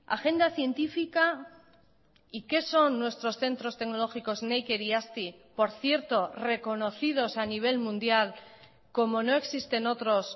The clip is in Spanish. agenda científica y qué son nuestros centros tecnológicos neiker y azti por cierto reconocidos a nivel mundial como no existen otros